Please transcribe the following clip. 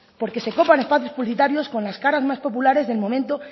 porque se copan espacios publicitarios con las caras más populares del momento